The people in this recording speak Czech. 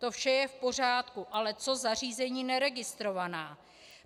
To vše je v pořádku, ale co zařízení neregistrovaná?